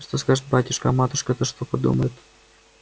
а что скажет батюшка а матушка-то что подумает